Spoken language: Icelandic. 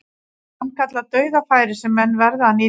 Sannkallað dauðafæri sem menn verða að nýta.